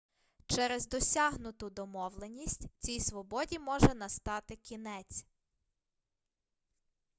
через досягнуту домовленість цій свободі може настати кінець